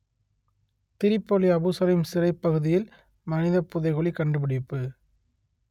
Tripoli Abu Salim சிறைப் பகுதியில் மனிதப் புதைகுழி கண்டுபிடிப்பு